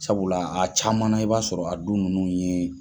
Sabula a caman na i b'a sɔrɔ a du ninnu ye